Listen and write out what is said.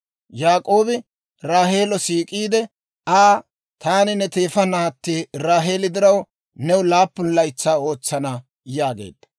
Yaak'oobi Raaheelo siik'iide Aa, «Taani ne teefa naatti Raaheeli diraw new laappun laytsaa ootsana» yaageedda.